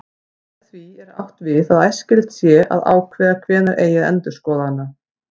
Með því er átt við að æskilegt sé að ákveða hvenær eigi að endurskoða hana.